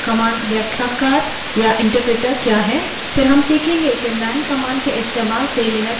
फिर हम सीखेंगे कि man man command के इस्तेमाल से लिनक्स में help कैसे पता करें